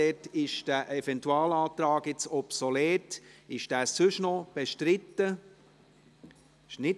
Dort ist der Eventualantrag jetzt obsolet.